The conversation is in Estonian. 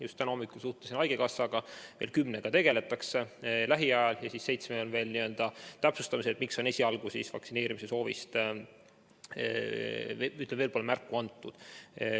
Just täna hommikul suhtlesin haigekassaga, kümnega tegeldakse lähiajal ja seitsme puhul on veel täpsustamisel, miks vaktsineerimise soovist pole märku antud.